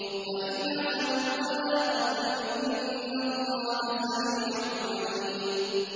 وَإِنْ عَزَمُوا الطَّلَاقَ فَإِنَّ اللَّهَ سَمِيعٌ عَلِيمٌ